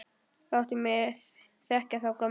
Láttu mig þekkja þá gömlu!